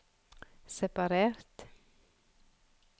separert